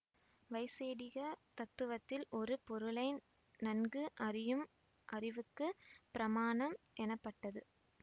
வைசேடிக தத்துவத்தில் ஒரு பொருளை நன்கு அறியும் அறிவுக்கு பிரமாணம் எனப்பட்டது